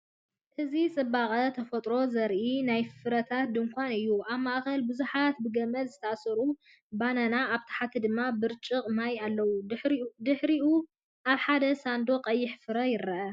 እዚ ጽባቐ ተፈጥሮ ዘርኢ ናይ ፍረታት ድኳን እዩ፤ ኣብ ማእከል ብዙሓት ብገመድ ዝተኣስሩ ባናናታት ኣብ ታሕቲ ድማ ብርጭቅ ማይ ኣለዉ። ድሕሪኡ፡ ኣብ ሓደ ሳንዱቕ ቀይሕ ፍረ ይረአ።